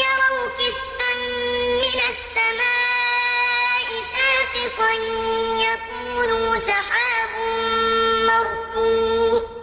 يَرَوْا كِسْفًا مِّنَ السَّمَاءِ سَاقِطًا يَقُولُوا سَحَابٌ مَّرْكُومٌ